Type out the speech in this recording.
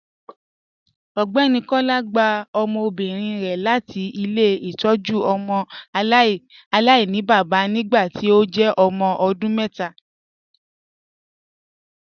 Ọgbẹni Kọla gbà ọmọbírin rẹ láti ilẹ̀-itọ́jú ọmọ alainibaba nígbàtí ó jẹ́ ọmọ ọdún mẹta.